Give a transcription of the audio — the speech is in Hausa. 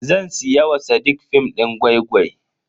Zan siya wa sadiq film din gwai-gwai.